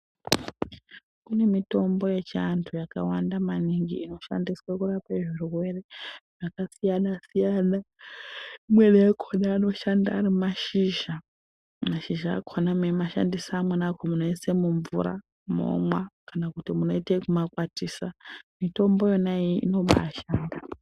Kune mitombo yechiantu yakawanda maningi inoshandiswa kurapa zvirwere zvakasiyana siyana imweni yakona anoshanda ari mashizha. Mashizha akona meimashandisa amweni akona munoisa mumvura mwomwa kana kuti mokwatisa mitombo iyoyo inoba yashanda .